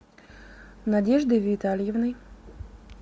надеждой витальевной